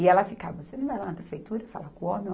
E ela ficava, você não vai lá na prefeitura falar com o homem?